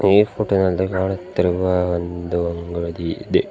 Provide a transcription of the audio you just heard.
ಈ ಫೋಟೊ ನಲ್ಲಿ ಕಾಣುತ್ತಿರುವ ಒಂದು ಅಂಗಡಿ ಇದೆ.